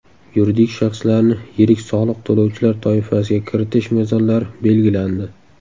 Yuridik shaxslarni yirik soliq to‘lovchilar toifasiga kiritish mezonlari belgilandi.